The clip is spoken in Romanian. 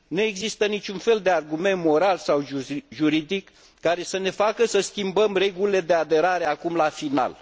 Nu există niciun fel de argument moral sau juridic care să ne facă să schimbăm regulile de aderare acum la final.